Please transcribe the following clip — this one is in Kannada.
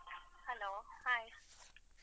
Hello, hai.